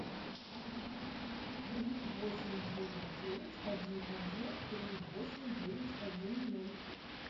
три восемь девять девять один один три восемь девять один ноль